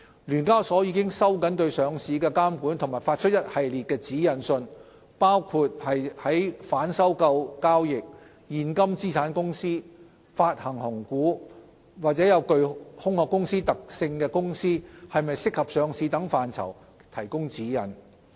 聯交所已收緊對上市的監管及發出一系列指引信，包括在反收購交易、現金資產公司、發行紅股、具"空殼"公司特性的公司是否適合上市等範疇提供指引。